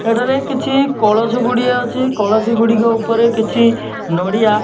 ଏଠାରେ କିଛି କଳସ ଗୁଡ଼ିଏ ଅଛି କଳସି ଗୁଡ଼ିକ ଉପରେ କିଛି ନଡ଼ିଆ --